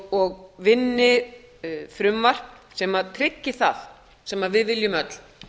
og vinni frumvarp sem tryggi það sem við viljum öll